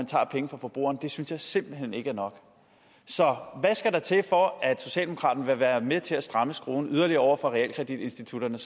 tager penge fra forbrugerne synes jeg simpelt hen ikke er nok så hvad skal der til for at socialdemokraterne vil være med til at stramme skruen yderligere over for realkreditinstitutterne